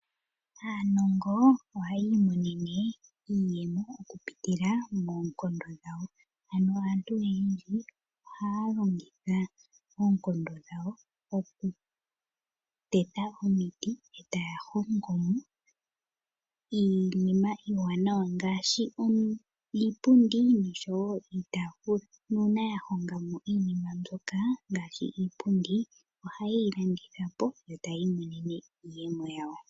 Aanongo ohayii monene iiyemo okupitila moonkondo dhawo anovaantu oyendji ohaa longitha oonkondo dhawo okuteta omiti etaya hongo mo iinima iiwanawa ngaashi iipundi nosho wo iitafula nuuna ya honga mo iinina mbyoka ngaashi iipundi ohayeyi landitha po yo taya imonene iiyemo yawo